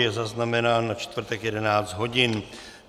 Je zaznamenán na čtvrtek 11 hodin.